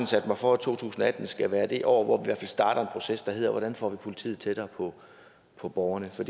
sat mig for at to tusind og atten skal være det år hvor hvert fald starter en proces der hedder hvordan får vi politiet tættere på på borgerne for